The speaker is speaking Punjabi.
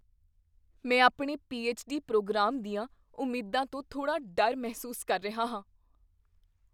ਮੈਂ ਆਪਣੇ ਪੀਐੱਚ.ਡੀ. ਪ੍ਰੋਗਰਾਮ ਦੀਆਂ ਉਮੀਦਾਂ ਤੋਂ ਥੋੜ੍ਹਾ ਡਰ ਮਹਿਸੂਸ ਕਰ ਰਿਹਾ ਹਾਂ।